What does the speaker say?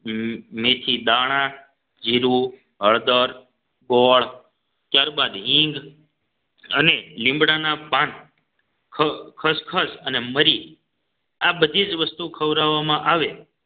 મેથી દાણા જીરું હળદર ગોળ ત્યારબાદ હિંગ અને લીમડાના પાન ખસખસ અને મરી આ બધી જ વસ્તુઓ ખવડાવવામાં આવે